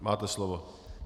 Máte slovo.